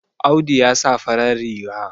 Audu ya sa farar riga